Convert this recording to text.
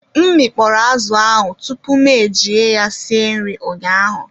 M mi kpọrọ azụ ahụ tupu m eji ya esi nri ụnyaahụ